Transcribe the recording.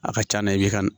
A ka c'a na i bɛ ka